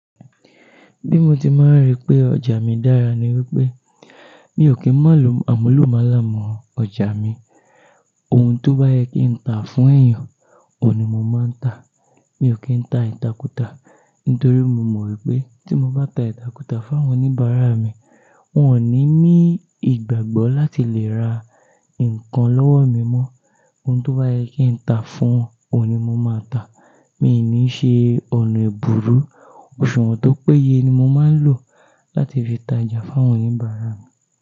Bí mo ti máa ń rí pé ọjà mi dára ni wípé mi ò kí ń má lọ àmúlùmálà mọ ọjà mi. Ohun tó bá yẹ kí n ta fún èèyàn, òun ni mo máa ń ta. Mi ò kí ń ta ìtàkùtà nítorí mo mọ̀ wípé tí mo bá ta ìtàkùtà fún àwọn oníbàárà mi, wón ò ní mí ìgbàgbọ́ láti lè ra nǹkan lọ́wọ́ mi mọ́. Ohun tó bá yẹ kí n ta fún wọn, òun ni mo máa ta. Mi ò ní ṣe ọ̀nà èbùrú, òṣùwọ̀n tó péye ni mo máa ń lò láti fi ta ọjà fún àwọn oníbàárà mi.